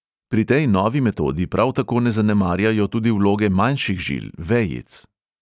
Pri tej novi metodi prav tako ne zanemarjajo tudi vloge manjših žil, vejic.